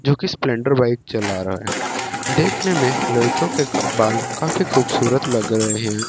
जो कि Splendor bike चला रहा है देखने में लड़कियों के का बाल काफी खूबसूरत लग रहे हैं।